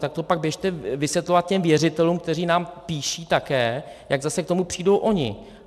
Tak to pak běžte vysvětlovat těm věřitelům, kteří nám píší také, jak zase k tomu přijdou oni.